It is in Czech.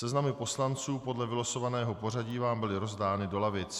Seznamy poslanců podle vylosovaného pořadí vám byly rozdány do lavic.